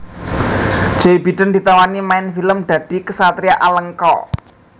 Joe Biden ditawani main film dadi ksatria Alengka